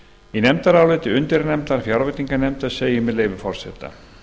í nefndaráliti undirnefndar fjárveitinganefndar segir með leyfi forseta